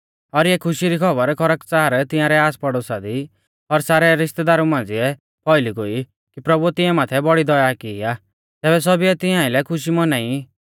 और इऐ खुशी री खौबर खरकच़ार तिंआरै आसपड़ोसा दी और सारै रिश्तैदारु मांझ़िऐ फौइली गोई कि प्रभुऐ तिंआ माथै बौड़ी दया की आ तैबै सौभीऐ तिंआ आइलै खुशी मौनाई